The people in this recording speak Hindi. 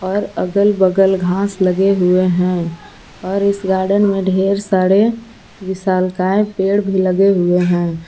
और अगल बगल घास लगे हुए हैं और इस गार्डन में ढेर सारे विशालकाय पेड़ भी लगे हुए हैं।